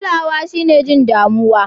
Kulawa shine jin damuwa.